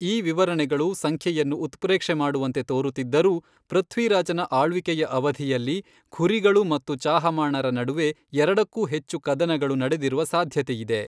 ಈ ವಿವರಣೆಗಳು ಸಂಖ್ಯೆಯನ್ನು ಉತ್ಪ್ರೇಕ್ಷೆ ಮಾಡುವಂತೆ ತೋರುತ್ತಿದ್ದರೂ, ಪೃಥ್ವಿರಾಜನ ಆಳ್ವಿಕೆಯ ಅವಧಿಯಲ್ಲಿ ಘುರಿಗಳು ಮತ್ತು ಚಾಹಮಾಣರ ನಡುವೆ ಎರಡಕ್ಕೂ ಹೆಚ್ಚು ಕದನಗಳು ನಡೆದಿರುವ ಸಾಧ್ಯತೆಯಿದೆ.